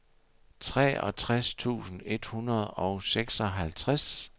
treogtres tusind et hundrede og seksoghalvtreds